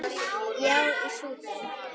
Já, í Súdan.